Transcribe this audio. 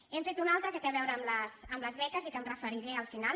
n’hem fet una altra que té a veure amb les beques i que m’hi referiré al final